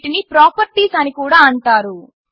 వీటిని ప్రాపర్టీస్ అని కూడా అంటారు